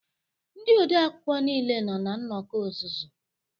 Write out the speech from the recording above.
Ndị odeakwụkwọ niile nọ na nnọkọ ọzụzụ